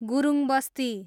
Gurungbasti